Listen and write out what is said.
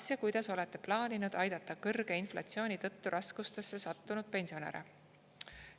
Kas ja kuidas olete plaaninud aidata kõrge inflatsiooni tõttu raskustesse sattunud pensionäre?